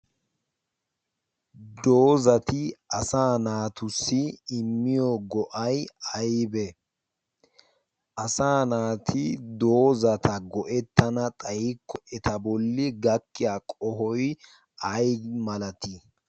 doozati asa naatussi immiyo go'ay aybe asa naati doozata go'ettana xayikko eta bolli gakkiya qohoi ay malatii?